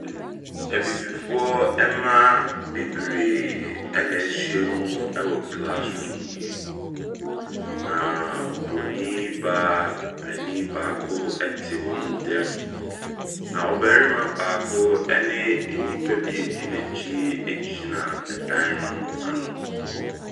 Abibifoɔ ɛmma bebree ɛna ahyia mu wɔ classroom yi, na ɔbronin baa panin baako ɛte wɔn ntam. Na ɔbarima ɛne nnipa bi adi n’akyi agyina ɛpono no ano.